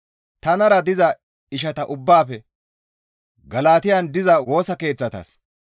tanara diza ishata ubbaafe Galatiyan diza Woosa Keeththatas,